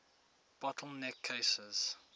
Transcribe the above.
bottle neck cases